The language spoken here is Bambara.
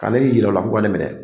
Ka ne yira u la k'u ka ne minɛ.